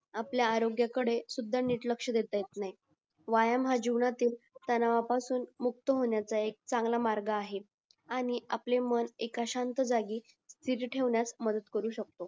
आपल्या आरोग्य कडे नीट लक्ष्य देता येत नाही व्यायाम हा जीवनातील तणावा पासून मुक्त होणायचा चांगला मार्ग आहे आणि आपले मन एका शांत जागी मदत करू शकतो